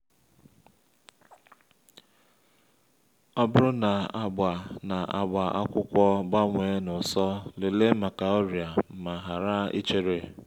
ọ bụrụ na agba na agba akwụkwọ gbanwee n’ụsọ lelee maka ọrịa ma hara ichere